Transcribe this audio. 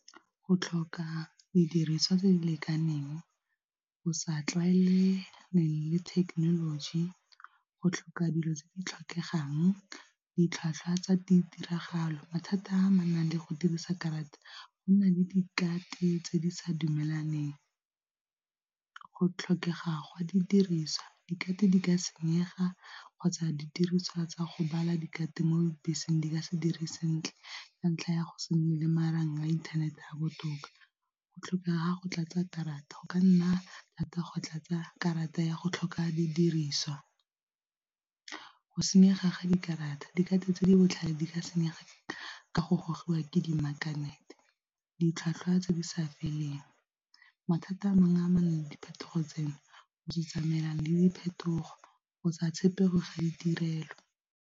Go tlhoka didiriswa tse di lekaneng, go sa tlwaelegang le thekenoloji, go tlhoka dilo tse di tlhokegang, ditlhwatlhwa tsa ditiragalo. Mathata a a amanang le go dirisa karata go na le tse di sa dumelaneng, go tlhokega ga di diriswa di ka senyega kgotsa didiriswa tsa go bala mo dibeseng di ka se dire sentle ka ntlha ya go se nne le marang a inthanete a botoka, go tlhokega go tlatsa karata go ka nna thata go tlatsa karata ya go tlhoka didiriswa, go senyega ga dikarata tse di botlhale di ka sengwa ke go gogiwa ke di magnet-e, ditlhwatlhwa tse di sa feleng, mathata a mangwe amanang le diphetogo tseno go se tsamaya le diphetogo go sa tshepege ga ditirelo.